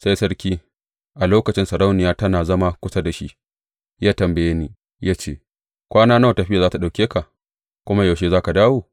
Sai sarki, a lokacin sarauniya da tana zama kusa da shi, ya tambaye ni, ya ce, Kwana nawa tafiyar za tă ɗauke ka, kuma yaushe za ka dawo?